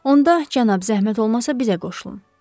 Onda, cənab, zəhmət olmasa bizə qoşulun.